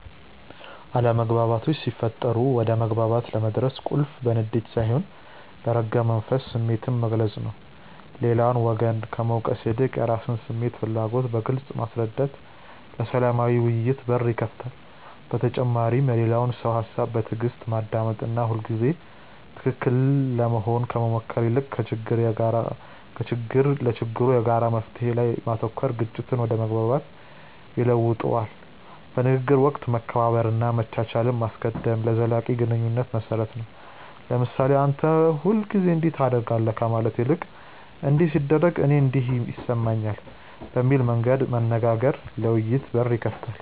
አለመግባባቶች ሲፈጠሩ ወደ መግባባት ለመድረስ ቁልፉ በንዴት ሳይሆን በረጋ መንፈስ ስሜትን መግለጽ ነው። ሌላውን ወገን ከመውቀስ ይልቅ የራስን ስሜትና ፍላጎት በግልጽ ማስረዳት ለሰላማዊ ውይይት በር ይከፍታል። በተጨማሪም የሌላውን ሰው ሃሳብ በትዕግስት ማዳመጥና ሁልጊዜ ትክክል ለመሆን ከመሞከር ይልቅ ለችግሩ የጋራ መፍትሔ ላይ ማተኮር ግጭትን ወደ መግባባት ይለውጠዋል። በንግግር ወቅት መከባበርንና መቻቻልን ማስቀደም ለዘላቂ ግንኙነት መሰረት ነው። ለምሳሌ "አንተ ሁልጊዜ እንዲህ ታደርጋለህ" ከማለት ይልቅ "እንዲህ ሲደረግ እኔ እንዲህ ይሰማኛል" በሚል መንገድ መናገር ለውይይት በር ይከፍታል።